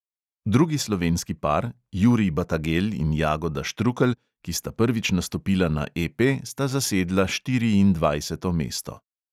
Drugi slovenski par, jurij batagelj in jagoda štrukelj, ki sta prvič nastopila na EP, sta zasedla štiriindvajseto mesto.